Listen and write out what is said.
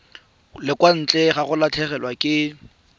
ntle ga go latlhegelwa ke